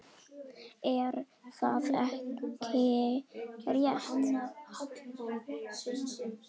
Er það ekki rétt?